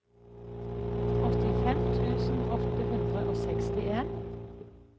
åttifem tusen åtte hundre og sekstien